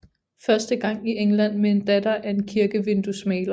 Første gang i England med en datter af en kirkevinduesmaler